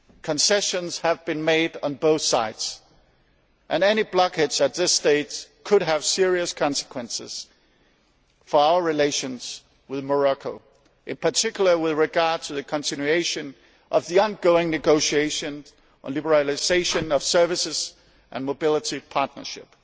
Concessions have been made on both sides, and any blockage at this stage could have serious consequences for our relations with Morocco, in particular with regard to the continuation of ongoing negotiations on the liberalisation of services and on a mobility partnership.